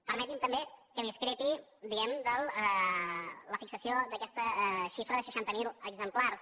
permetin me també que discrepi diguem ne de la fixació d’aquesta xifra de seixanta mil exemplars